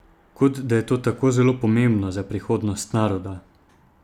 Kot da je to tako zelo pomembno za prihodnost naroda!